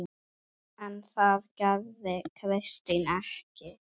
En það gerði Kristín ekki.